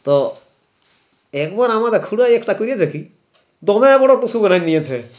তো একবার আমর খুড়ো একটা করে দেখি তোমরাই বলো টুসু বলে নিয়েছে